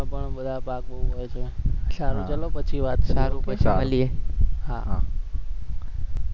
સારું ચલો પછી વાત કરીએ હા હા